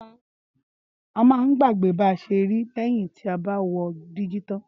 Áma ń gbàgbè bà sè ri lẹyìn tà bà wò dígí tań